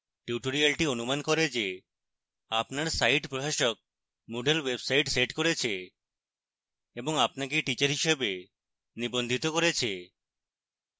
tutorial অনুমান করে যে আপনার site প্রশাসক moodle website set করেছে এবং আপনাকে teacher হিসাবে নিবন্ধিত করেছে